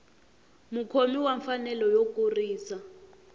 mukhomi wa mfanelo yo kurisa